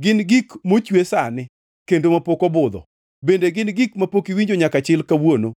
Gin gik mochwe sani, kendo mapok obudho; bende gin gik mapok iwinjo nyaka chil kawuono.